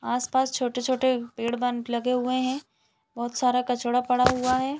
आस-पास छोटे-छोटे पेड़ बन लगे हुए है बहुत सारा कचडा़ पड़ा हुआ हैं ।